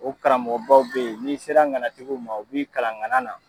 O karamɔgɔbaw bɛ ye n'i sera ŋanatigiw ma u b'i kalan ŋanana.